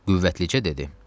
Qüvvəticə dedi.